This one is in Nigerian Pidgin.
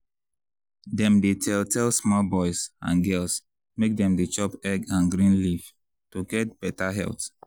teen dem dey always cut down bread and spaghetti to dey live beta and stay fresh.